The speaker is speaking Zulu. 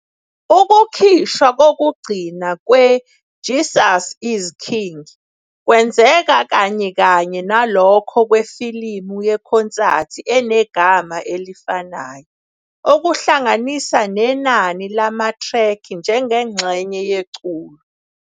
Ukukhishwa kokugcina kwe- "Jesus Is King" kwenzeka kanyekanye nalokho kwefilimu yekhonsathi enegama elifanayo, okuhlanganisa nenani lamathrekhi njengengxenye yeculo.